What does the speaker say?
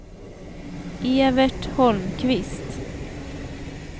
Evert Holmqvist